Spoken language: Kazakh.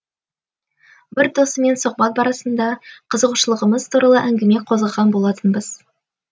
бір досыммен сұхбат барысында қызығушылығымыз туралы әңгіме қозғаған болатынбыз